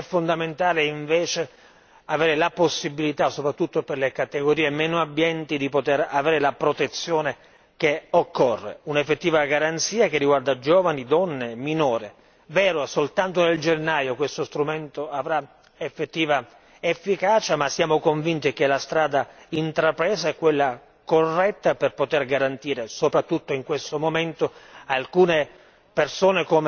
transfrontaliere dove è fondamentale invece avere la possibilità, soprattutto per le categorie meno abbienti, di poter avere la protezione che occorre. Si tratta di un'effettiva garanzia che riguarda giovani, donne, minori. È vero che soltanto in gennaio questo strumento avrà un'effettiva efficacia, ma siamo convinti che la strada intrapresa sia quella corretta per poter garantire, soprattutto in questo momento,